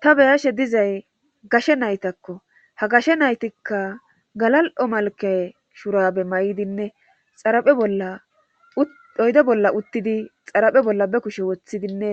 ta beyashe dizay gashe naytakko ha gashe naytikka galal7o malke shurabe may7idinne xaraphe bolla oyde bolla uttidi xaraphe bolla be kushe woththidinne